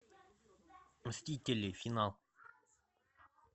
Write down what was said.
мстители финал